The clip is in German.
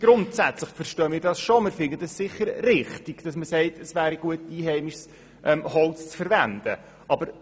Grundsätzlich verstehen wir das Anliegen schon und finden es richtig, wenn einheimisches Holz verwendet werden soll.